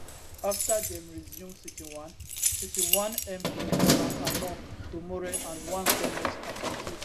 afta dem resume sitting one sitting one mp frank annor domoreh and one goment appointee